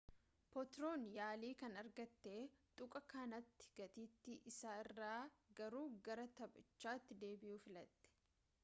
potron yaali kan argate tuqaa kanati gateeti isaa irra garuu gara taphachitti deebi'uu filate